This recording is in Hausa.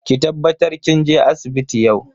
Ki tabbatar kin je asibiti yau.